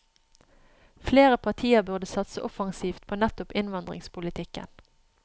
Flere partier burde satse offensivt på nettopp innvandringspolitikken.